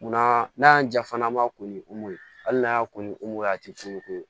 Munna n'a y'an ja fana an b'a ko ni ye hali n'a y'a ko a tɛ foyi k'u ye